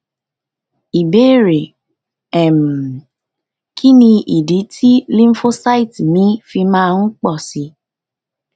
ìbéèrè um kí nì idí tí lymphocyte mi fi máa ń pọ sí i